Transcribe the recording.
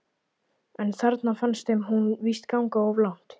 En þarna fannst þeim hún víst ganga of langt.